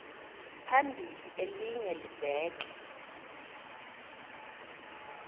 phambili elinye libheke